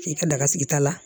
K'i ka daga sigi ta la